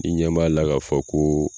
I ɲɛ b'a la k'a fɔ koo